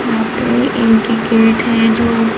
यहाँ पे एक ही गेट है जो --